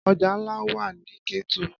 Ọjà ńlá wà nní Kétu